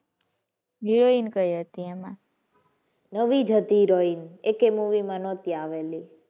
Heroin કઈ હતી એમાં? નવી જ હતી heroin એકેય movie માં નહોતી આવેલી.